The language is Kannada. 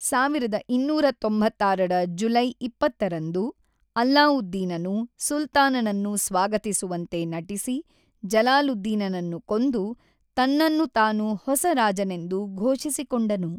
ಸಾವಿರದ ಇನ್ನೂರ ತೊಂಬತ್ತಾರರ ಜುಲೈ ಇಪ್ಪತ್ತರಂದು ಅಲ್ಲಾವುದ್ದೀನನು ಸುಲ್ತಾನನನ್ನು ಸ್ವಾಗತಿಸುವಂತೆ ನಟಿಸಿ ಜಲಾಲುದ್ದೀನನನ್ನು ಕೊಂದು, ತನ್ನನ್ನು ತಾನು ಹೊಸ ರಾಜನೆಂದು ಘೋಷಿಸಿಕೊಂಡನು.